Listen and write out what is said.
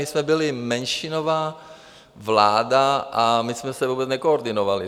My jsme byli menšinová vláda a my jsme se vůbec nekoordinovali.